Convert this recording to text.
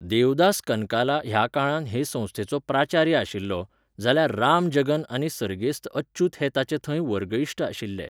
देवदास कनकाला ह्या काळांत हे संस्थेचो प्राचार्य आशिल्लो, जाल्यार राम जगन आनी सरगेस्त अच्युत हे ताचे थंय वर्गइश्ट आशिल्ले.